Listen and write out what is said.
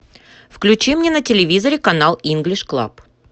включи мне на телевизоре канал инглиш клаб